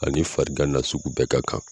Ani farigan nasugu bɛɛ ka kan.